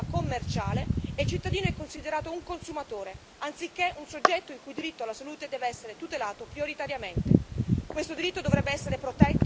C'è quindi una prevalenza delle logiche di natura commerciale e il cittadino è considerato un consumatore anziché un soggetto il cui diritto alla salute deve essere tutelato prioritariamente.